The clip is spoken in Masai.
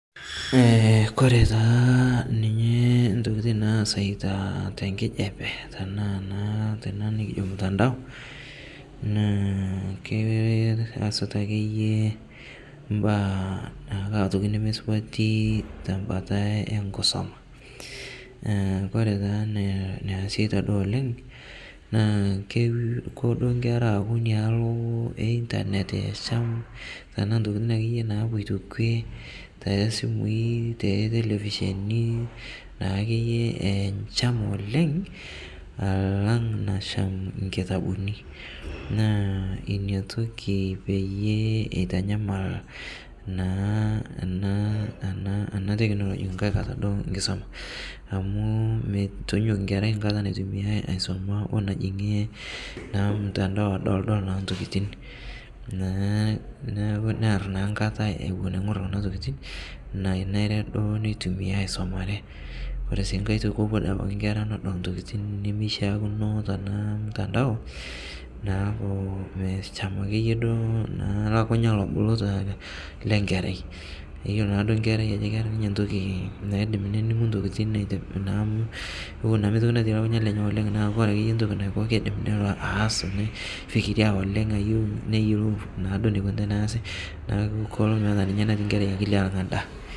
koree taa ninye intokiting' naasita tenkijape tenaaa naa nikijo ormutandao naaa keyasita ake iye imbaa imbaa nemesupati tembata enkisuma ore taa tesiekinoto oleng' naa kepuo inkera aaku enei nialo tenaa intokiting' ake iye naapoito kuliee too simui tee ntelepisheni naa keyie echam oleng' alang' nasham inkitabuni naa ina toki peyiee eitanyamal naa ina technology naa inkisuma amuu metonyok enkerai enkata naisuma oo enajing'ie naa ormutantao adol naa intokiting' naa neeku nearr naa enkata eing'orr kuna tokiting' nainare duo neitumiai aisumare oree sii enkae toki mepal inkera nena tokitin nemeishaakino naa tormuntantao naa akeyue metachama ake yie olobulu le nkerai iyolo naa enkerai ajo keeta ninye entoki naa iindim nining'u intokiting'.